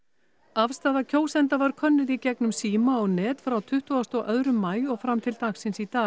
afstaða kjósenda var könnuð í gegnum síma og net frá tuttugustu og annan maí og fram til dagsins í dag